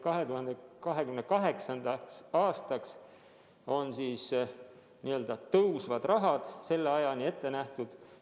2028. aastani on n-ö tõusvad rahad ette nähtud.